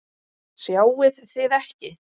Sjáið þið ekki?